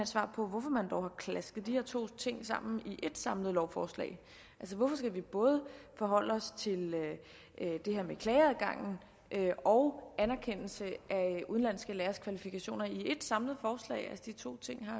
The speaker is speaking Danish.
svar på hvorfor man dog har klasket de her to ting sammen i et samlet lovforslag hvorfor skal vi både forholde os til det her med klageadgangen og anerkendelsen af udenlandske læreres kvalifikationer i et samlet forslag de to ting har